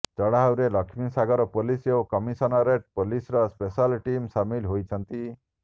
ଚଢାଉରେ ଲକ୍ଷ୍ମୀସାଗର ପୋଲିସ ଓ କମିଶନରେଟ୍ ପୋଲିସର ସ୍ପେଶାଲ ଟିମ୍ ସାମିଲ ହୋଇଛନ୍ତି